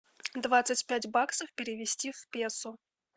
двадцать пять баксов перевести в песо